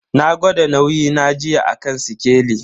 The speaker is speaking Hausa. Na gwada nauyi na jiya a kan sikeli.